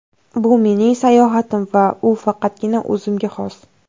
Bu mening sayohatim va u faqatgina o‘zimga xos.